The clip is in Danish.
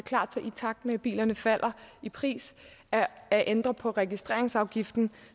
klar til i takt med at bilerne falder i pris at ændre på registreringsafgiften